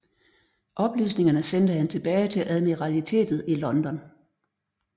Oplysningerne sendte han tilbage til Admiralitetet i London